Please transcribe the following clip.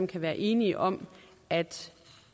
kan være enige om at